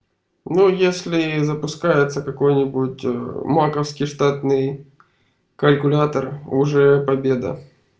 ну если запускается какой-нибудь ээ маковский штатный калькулятор уже победа